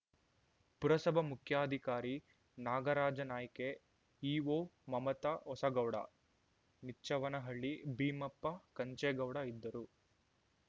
ಪುರಸಭಾ ಮುಖ್ಯಾಧಿಕಾರಿ ನಾಗರಾಜನಾಯ್ಕೆ ಇಓ ಮಮತಾ ಹೊಸಗೌಡ ನಿಚ್ಚವನಹಳ್ಳಿ ಭೀಮಪ್ಪ ಕೆಂಚೆಗೌಡ ಇದ್ದರು